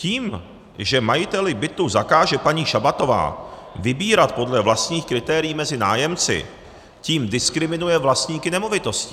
Tím, že majiteli bytu zakáže paní Šabatová vybírat podle vlastních kritérií mezi nájemci, tím diskriminuje vlastníky nemovitostí.